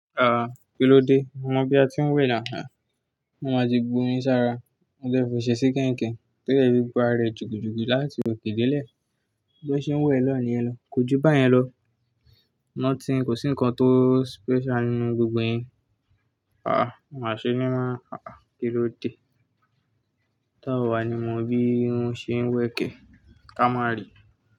Ah! Kí ló dé? Mo mọ bí a ti ń wẹ̀ nà á. Mo má ti gbó mi sára. Mo jẹ́ fi oṣẹ sí kẹ́nkẹ̀, tó jẹ́ fi gbá rẹ̀ jùgùjù láti òkè delẹ́ẹ̀. Bí ó ṣe ń wọ̀ ẹ lọ ni ẹ lọ. Kójúbá yẹn lọ. Nothing kò sí nǹkan tó special nínú gbogbo yẹn. Ah! Máa ṣé ní máa. Ah! Kí ló dé? Táwà ni mo bi won ṣe ń wẹkẹ̀. Kamari.